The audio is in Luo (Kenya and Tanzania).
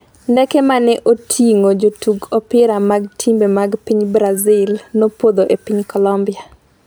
Ndege mane oting'o jotug opira mag timbe mag piny Brazil nopodho e piny Colombia